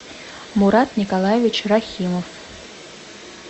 мурат николаевич рахимов